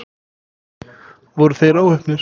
Voru þeir óheppnir?